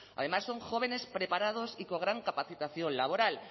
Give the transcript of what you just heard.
además son jóvenes preparados y con gran capacitación laboral